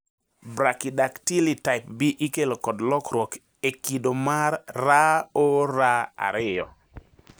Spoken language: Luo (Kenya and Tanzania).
Brachydactyly type B ikelo kod lokruok e kido mar ROR2.